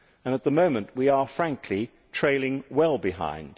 At the moment we are, frankly, trailing well behind.